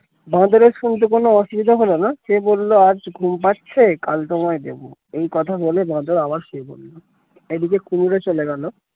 বাঁদরের শুনতে কোন অসুবিধা হলো না সে বললো আজ ঘুম পাচ্ছে কাল তোমায় দেবো এই কথা বলে বাঁদর আবার শুয়ে পড়লো এদিকে কুমির ও চলে গেল